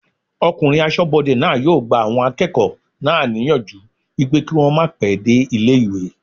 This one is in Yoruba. Ọkùnrin asọ́bodè náà yóò gba àwọn akẹ́kọ̀ọ́ náà níyànjú pé kí wọ́n màá pẹ́ dé ilé-ìwé